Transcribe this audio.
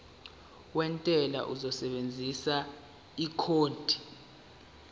wentela uzosebenzisa ikhodi